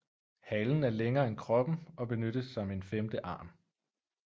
Halen er længere end kroppen og benyttes som en femte arm